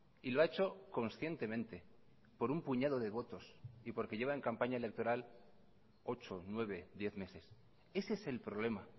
y lo ha hecho conscientemente por un puñado de votos y porque lleva en campaña electoral ocho nueve diez meses ese es el problema